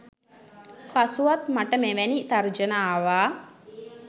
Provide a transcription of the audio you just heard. පසුවත් මට මෙවැනි තර්ජන ආවා